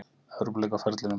Evrópuleik á ferlinum.